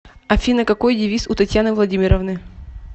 афина какой девиз у татьяны владимировны